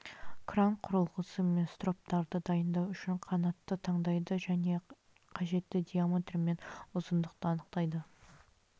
кран құрылғысы мен строптарды дайындау үшін канатты таңдайды және қажетті диаметр мен ұзындықты анықтайды